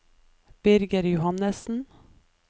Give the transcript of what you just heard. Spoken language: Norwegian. Birger Johannessen